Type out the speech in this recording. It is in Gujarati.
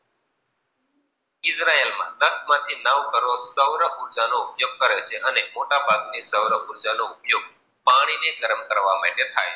સાત માથી નવ કર્વો ની સરૂવ ઉર્જા નો ઉપયોગ કરે છે અને મોટા ભાગ ની સરુવ ઉપયોગ પાણી ને ગરમ કરવામાં થાય છે.